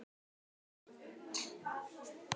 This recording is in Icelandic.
Hektor, hvaða stoppistöð er næst mér?